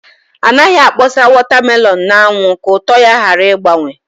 Anaghị akpọsa wọta melọn n’anwụ ka ụtọ ya ghara ịgbanwe